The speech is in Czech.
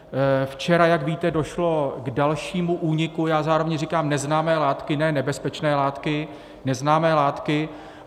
Včera, jak víte, došlo k dalšímu úniku, já zároveň říkám neznámé látky - ne nebezpečné látky, neznámé látky.